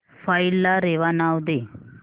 file ला रेवा नाव दे